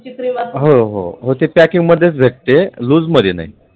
हो हो ते Packing मध्येच भेटतेे लूझ मध्ये नाही.